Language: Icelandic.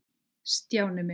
Stjáni minn.